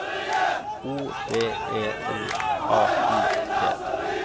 O V E R A L T